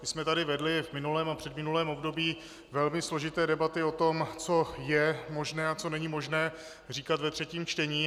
My jsme tady vedli v minulém a předminulém období velmi složité debaty o tom, co je možné a co není možné říkat ve třetím čtení.